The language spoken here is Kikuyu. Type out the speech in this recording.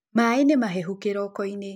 Maĩ nĩmahehũ kĩrokoinĩ.